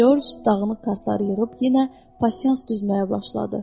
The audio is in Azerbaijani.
Corc dağınıq kartları yığıb yenə pasiyans düzməyə başladı.